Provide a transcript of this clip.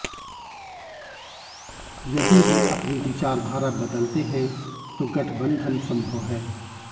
यदि वे अपनी विचारधारा बदलते हैं तो गठबंधन संभव है